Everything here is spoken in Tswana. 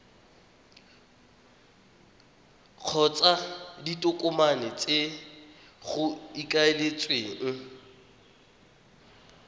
kgotsa ditokomane tse go ikaeletsweng